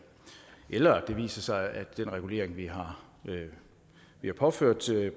eller det viser sig at den regulering vi har påført